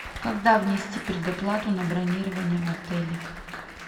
когда внести предоплату на бронирование в отеле